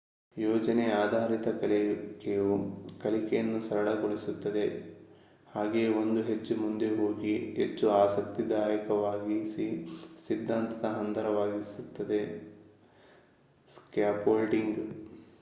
ಯೋಜನೆ ಆಧಾರಿತ ಕಲಿಕೆಯು ಕಲಿಕೆಯನ್ನು ಸರಳಗೊಳಿಸುತ್ತದೆ ಹಾಗೆಯೇ ಒಂದು ಹೆಜ್ಜೆ ಮುಂದಕ್ಕೆ ಹೋಗಿ ಹೆಚ್ಚು ಆಸಕ್ತಿದಾಯವಾಗಿಸಿ ಸಿದ್ದಾಂತದ ಹಂದರವಾಗಿಸುತ್ತದೆ ಸ್ಕಾಫೋಲ್ಡಿಂಗ್